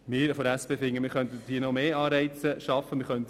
Wir von der SP finden, es könnten noch mehr Anreize geschaffen werden.